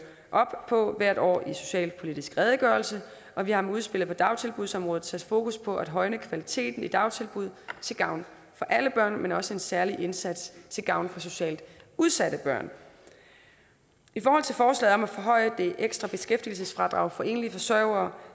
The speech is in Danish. op på hvert år i den socialpolitiske redegørelse og vi har med udspillet på dagtilbudsområdet sat fokus på at højne kvaliteten i dagtilbud til gavn for alle børn men også en særlig indsats til gavn for socialt udsatte børn i forhold til forslaget om at forhøje det ekstra beskæftigelsesfradrag for enlige forsørgere